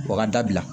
O ka dabila